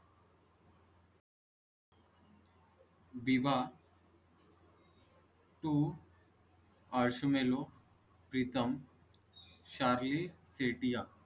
विवाह to मेलो प्रीतम. शार्ली सेठिया